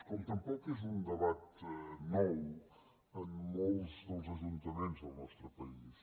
com tampoc és un debat nou en molts dels ajuntaments del nostre país